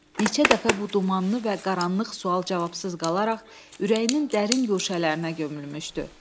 Neçə dəfə bu dumanlı və qaranlıq sual cavabsız qalaraq ürəyinin dərin guşələrinə gömülmüşdü.